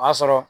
O y'a sɔrɔ